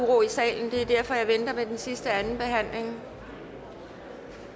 uro i salen det er derfor at jeg venter med den sidste anden behandling